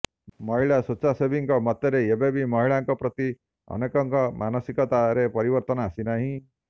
ମହିଳା ସ୍ୱେଚ୍ଛାସେବୀଙ୍କ ମତରେ ଏବେ ବି ମହିଳାଙ୍କ ପ୍ରତି ଅନେକଙ୍କ ମାନସିକତା ରେ ପରିବର୍ତ୍ତନ ଆସି ନାହିଁ